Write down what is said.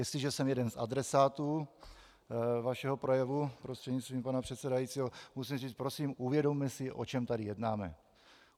Jestliže jsem jeden z adresátů vašeho projevu, prostřednictvím pana předsedajícího, musím říct - prosím uvědomme si, o čem tady jednáme.